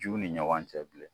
Juw ni ɲɔgɔn cɛ bilen